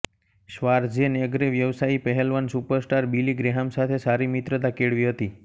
શ્વાર્ઝેનેગરે વ્યવસાયી પહેલવાન superstar Billy Graham સાથે સારી મિત્રતા કેળવી હતી